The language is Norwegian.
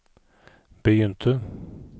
begynte